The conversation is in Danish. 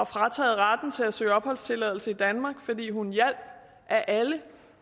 frataget retten til at søge opholdstilladelse i danmark fordi hun hjalp af alle